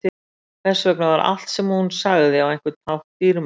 Þess vegna var allt sem hún sagði á einhvern hátt dýrmætt.